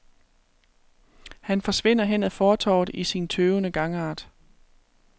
Han forsvinder hen ad fortovet i sin tøvende gangart.